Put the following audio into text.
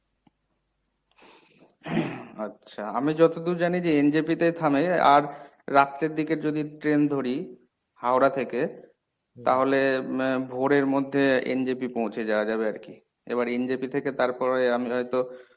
আচ্ছা আমি যতদূর জানি যে NJP তেই থামে আর রাত্রের দিকে যদি train ধরি হাওড়া থেকে তাহলে ভোরের মধ্যে NJP পৌঁছে যাওয়া যাবে আরকি। এবার NJP থেকে তারপরে আমি হয়ত